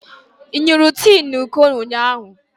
Ị ṅụrụ tii na iko ụnyahụ?